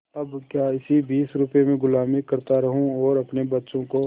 अब क्या इसी बीस रुपये में गुलामी करता रहूँ और अपने बच्चों को